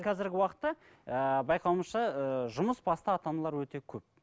қазіргі уақытта ы байқауымызша ы жұмысбасты ата аналар өте көп